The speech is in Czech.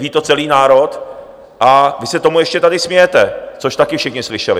Ví to celý národ a vy se tomu ještě tady smějete, což taky všichni slyšeli.